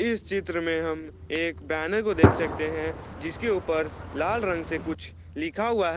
इस चित्र में हम एक बैनर को देख सकते हैं जिसके ऊपर लाल रंग से कुछ लिखा हुआ है।